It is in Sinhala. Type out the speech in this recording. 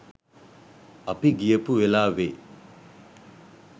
අපි ගියපු වෙලාවෙ